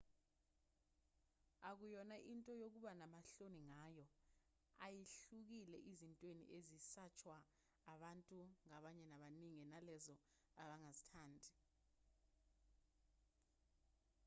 akuyona into yokuba namahloni ngayo ayihlukile ezintweni ezisatshwa abantu ngabanye abaningi nalezo abangazithandi